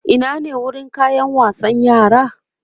Ina ne wurin kayan wasan yara?